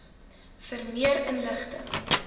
vir meer inligting